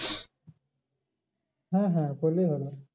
হ্যাঁ হ্যাঁ করলেই হলো।